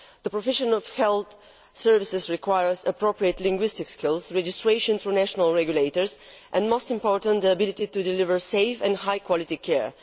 The provision of health services requires appropriate linguistic skills, registration through national regulators and, most importantly, the ability to deliver safe and high quality care.